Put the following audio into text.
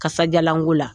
Kasajalanko la